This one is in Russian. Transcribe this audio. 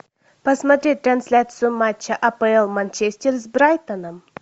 посмотреть трансляцию матча апл манчестер с брайтоном